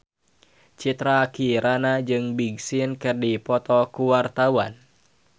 Citra Kirana jeung Big Sean keur dipoto ku wartawan